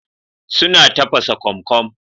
Suna tafasa kokom